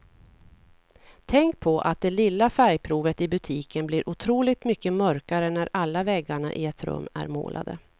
Tänk på att det lilla färgprovet i butiken blir otroligt mycket mörkare när alla väggarna i ett rum är målade.